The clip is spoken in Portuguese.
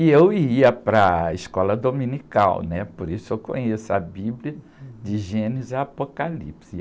E eu ia para a escola dominical, né? Por isso eu conheço a Bíblia de Gênesis e Apocalipse.